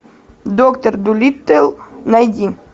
доктор дулиттл найди